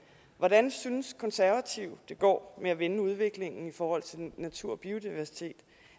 hvordan synes konservative det går med at vende udviklingen i forhold til natur og biodiversitet